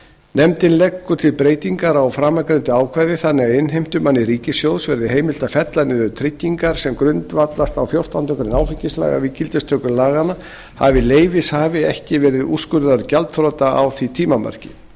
nefndin leggur til breytingar á framangreindu ákvæði þannig að innheimtumanni ríkissjóðs verði heimilt að fella niður tryggingar sem grundvallast á fjórtándu grein áfengislaga við gildistöku laganna hafi leyfishafi ekki verið úrskurðaður gjaldþrota á því tímamarki